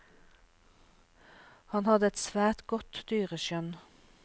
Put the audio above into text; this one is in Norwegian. Han hadde et svært godt dyreskjønn.